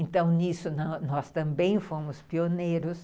Então, nisso, nós nós também fomos pioneiros.